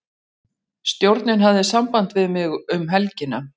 Stjórnin hafði samband við mig um helgina.